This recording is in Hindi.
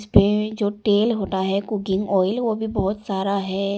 ये जो टेल होता है कुकिंग ऑयल वो भी बहुत सारा हैं।